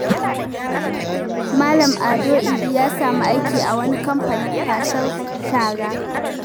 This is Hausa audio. Malam Ado Idi ya sami aiki a wani kamfanin kwasar shara.